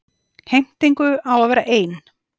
Heimtingu á að vera ein.